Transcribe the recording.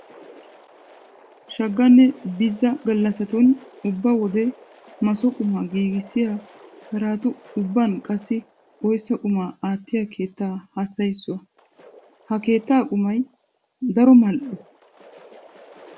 Shaaganne Bizza gallassatun ubba wode maso qumaa giigissiya haraatu ubban qassi oyssa qumaa aattiya keettaa hassayissuwa. Ha keettaa qumay daro mal"o.